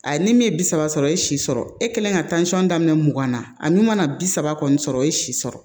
A ye ni min ye bi saba sɔrɔ e ye si sɔrɔ e kelen ka daminɛ mugan na a n'u mana bi saba kɔni sɔrɔ o ye si sɔrɔ